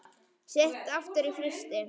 Sett aftur í frysti.